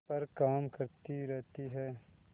पर काम करती रहती है